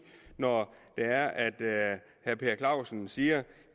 når herre per clausen siger at